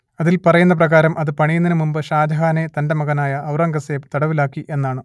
അതിൽ പറയുന്ന പ്രകാരം അത് പണിയുന്നതിനു മുൻപ് ഷാജഹാനെ തന്റെ മകനായ ഔറംഗസേബ് തടവിലാക്കി എന്നാണ്